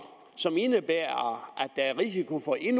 som indebærer at der er risiko for en